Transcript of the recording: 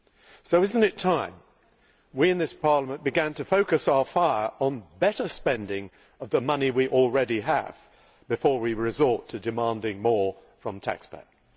So is it not time we in this Parliament began to focus our fire on better spending of the money we already have, before we resort to demanding more from the taxpayer?